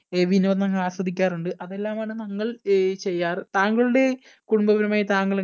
ആഹ് വിനോദങ്ങള്‍ ആസ്വദിക്കാറുണ്ട്. അതെല്ലാമാണ് നമ്മൾ ഏർ ചെയ്യാറ്. താങ്കളുടെ കുടുംബപരമായി താങ്കൾ എ